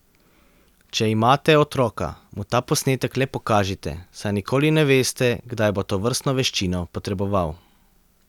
Če imate otroka, mu ta posnetek le pokažite, saj nikoli ne veste, kdaj bo tovrstno veščino potreboval.